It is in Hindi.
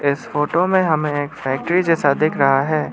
इस फोटो में हमें एक फैक्ट्री जैसा दिख रहा है।